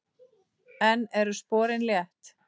Enn eru sporin létt.